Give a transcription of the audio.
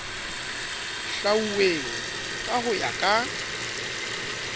hlwauweng ka ho ya ka